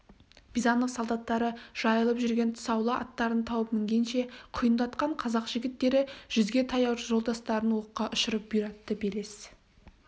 бизанов солдаттары жайылып жүрген тұсаулы аттарын тауып мінгенше құйындатқан қазақ жігіттері жүзге таяу жолдастарын оққа ұшырып бұйратты белес